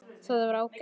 Það var ágætt.